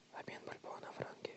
обмен бальбоа на франки